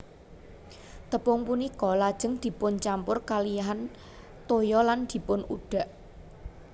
Tepung punika lajeng dipuncampur kalihan toya lan dipunudhak